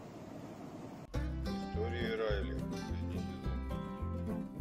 история райли последний сезон